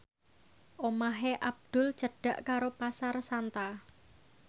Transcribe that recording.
omahe Abdul cedhak karo Pasar Santa